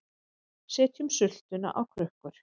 Setjum sultuna á krukkur